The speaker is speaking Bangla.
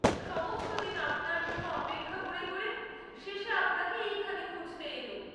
সমস্ত দিন আপনার জন্যে অপেক্ষা ক’রে করে শেষে আপনাকে এইখানে খুঁজতে এলুম।